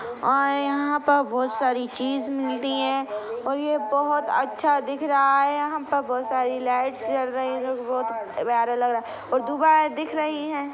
और यहाँ पर बहुत सारी चीज मिलती हैं और ये बहोत अच्छा दिख रहा हैं यहाँ पर बहुत सारी लाइट्स जल रही हैं और दुबई दिख रही हैं।